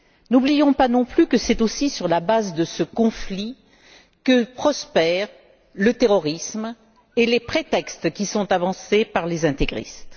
N'oublions pas non plus, que c'est aussi sur la base de ce conflit que prospèrent le terrorisme et les prétextes qui sont avancés par les intégristes.